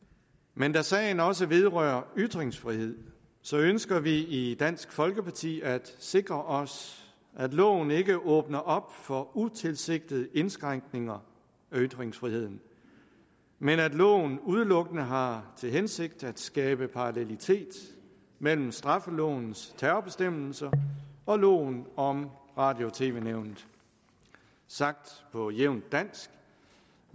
men da sagen også vedrører ytringsfrihed ønsker vi i dansk folkeparti at sikre os at loven ikke åbner op for utilsigtede indskrænkninger af ytringsfriheden men at loven udelukkende har til hensigt at skabe parallelitet mellem straffelovens terrorbestemmelser og loven om radio og tv nævnet sagt på jævnt dansk